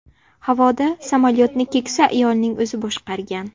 Havoda samolyotni keksa ayolning o‘zi boshqargan.